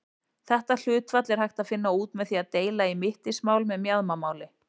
Þetta hlutfall er hægt að finna út með því að deila í mittismál með mjaðmamáli.